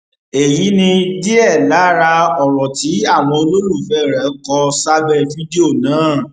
èyí ni díẹ lára ọrọ tí àwọn olólùfẹ rẹ kò sábẹ fídíò náà